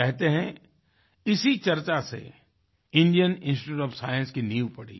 कहते हैं इसी चर्चा से इंडियन इंस्टीट्यूट ओएफ साइंस की नींव पड़ी